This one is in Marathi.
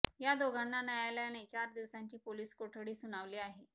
या दोघांना न्यायालयाने चार दिवसांची पोलीस कोठडी सुनावली आहे